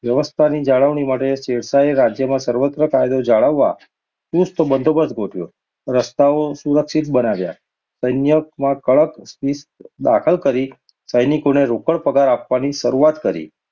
વ્યવસ્થાની જાળવણી માટે શેરશાહે રાજ્યમાં સર્વત્ર કાયદો જાળવવા ચુસ્ત બંદોબસ્ત ગોઠવ્યો. રસ્તાઓ સુરક્ષિત બનાવ્યા. સૈન્યમાં કડક શિસ્ત દાખલ કરી, સૈનિકોને રોકડ પગાર આપવાની શરૂઆત કરી.